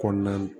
Kɔnɔna na